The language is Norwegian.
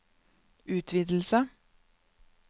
utvidelse